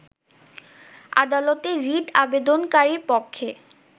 আদালতে রিট আবেদনকারীর পক্ষে